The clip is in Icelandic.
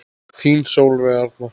Þín Sólveig Arna.